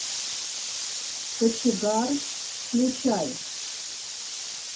кочегар включай